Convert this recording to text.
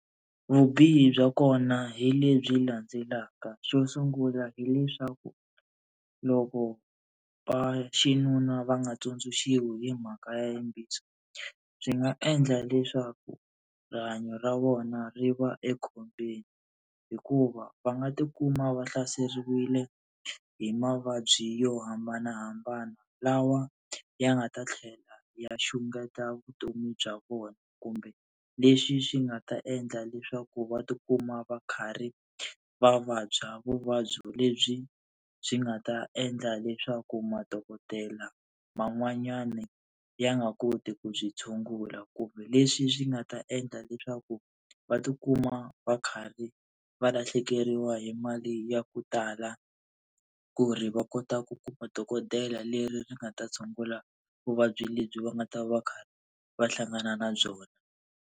Vubihi bya kona hi lebyi landzelaka. Xo sungula hileswaku loko va xinuna va nga tsundzuxiwi hi mhaka ya yimbiso, swi nga endla leswaku rihanyo ra vona ri va ekhombyeni. Hikuva va nga tikuma va hlaseriwile hi mavabyi yo hambanahambana lawa ya nga ta tlhela ya xungeta vutomi bya vona kumbe, leswi swi nga ta endla leswaku va tikuma va karhi va vabya vuvabyi lebyi swi nga ta endla leswaku madokodela man'wanyana ya nga koti ku byi tshungula. Kumbe leswi swi nga ta endla leswaku va tikuma va karhi va lahlekeriwa hi mali ya ku tala ku ri va kota ku kuma dokodela leri ri nga ta tshungula vuvabyi lebyi va nga ta va kha va hlangana na byona.